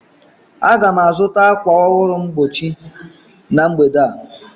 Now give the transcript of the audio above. Aga m azụta ákwà mgbochi ọhụrụ na mgbede a